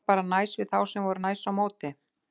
Ég var bara næs við þá og þeir voru næs á móti.